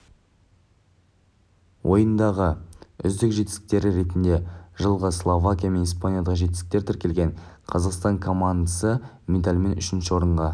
ойынындағы үздік жетістіктері ретінде жылғы словакия мен испаниядағы жеңістері тіркелген қазақстан командасы медальмен үшінші орынға